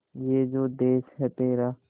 ये जो देस है तेरा